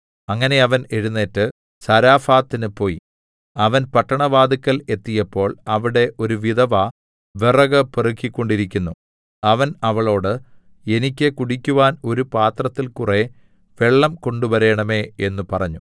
അങ്ങനെ അവൻ എഴുന്നേറ്റ് സാരെഫാത്തിന് പോയി അവൻ പട്ടണവാതില്ക്കൽ എത്തിയപ്പോൾ അവിടെ ഒരു വിധവ വിറക് പെറുക്കിക്കൊണ്ടിരുന്നു അവൻ അവളോട് എനിക്ക് കുടിക്കുവാൻ ഒരു പാത്രത്തിൽ കുറെ വെള്ളം കൊണ്ടുവരേണമേ എന്ന് പറഞ്ഞു